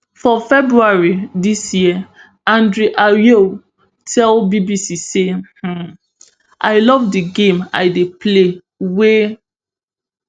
for february dis year andre ayew tell bbc say um i love di game i dey play wey